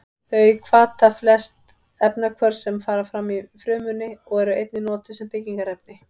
Þau hvata flest efnahvörf sem fram fara í frumunni og eru einnig notuð sem byggingarefni.